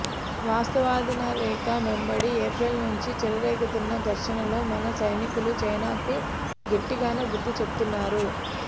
వాస్తవాధీన రేఖ వెంబడి ఏప్రిల్ నుంచి చెలరేగుతున్న ఘర్షణల్లో మన సైనికులు చైనాకు గట్టిగానే బుద్ధి చెబుతున్నారు